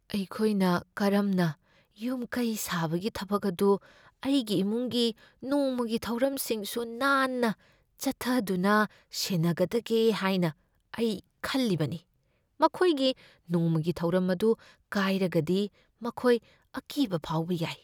ꯑꯩꯈꯣꯏꯅ ꯀꯔꯝꯅ ꯌꯨꯝ ꯀꯩ ꯁꯥꯕꯒꯤ ꯊꯕꯛ ꯑꯗꯨ ꯑꯩꯒꯤ ꯏꯃꯨꯡꯒꯤ ꯅꯣꯡꯃꯒꯤ ꯊꯧꯔꯝꯁꯤꯡꯁꯨ ꯅꯥꯟꯅ ꯆꯠꯊꯗꯨꯅ ꯁꯦꯟꯅꯒꯗꯒꯦ ꯍꯥꯏꯅ ꯑꯩ ꯈꯜꯂꯤꯕꯅꯤ꯫ ꯃꯈꯣꯏꯒꯤ ꯅꯣꯡꯃꯒꯤ ꯊꯧꯔꯝ ꯑꯗꯨ ꯀꯥꯏꯔꯒꯗꯤ ꯃꯈꯣꯏ ꯑꯀꯤꯕ ꯐꯥꯎꯕ ꯌꯥꯏ ꯫